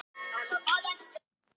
Nei, ég get ekki sagt frá því.